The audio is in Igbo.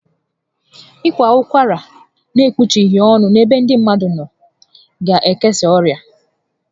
Ị kwa ụkwara n'ekpuchighi ọnụ n'ebe ndị mmadụ nọ ga ekesa ọrịa